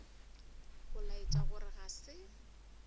go laetša gore ga se